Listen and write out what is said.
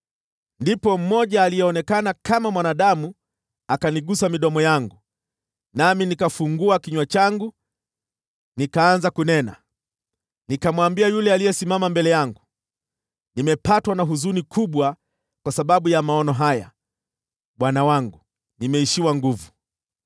Ndipo mmoja aliyeonekana kama mwanadamu akanigusa midomo yangu, nami nikafungua kinywa changu, nikaanza kunena. Nikamwambia yule aliyesimama mbele yangu, “Nimepatwa na huzuni kubwa kwa sababu ya maono haya, bwana wangu, nami nimeishiwa nguvu.